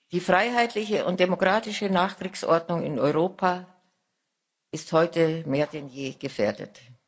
Die freiheitliche und demokratische Nachkriegsordnung in Europa ist heute mehr denn je gefährdet.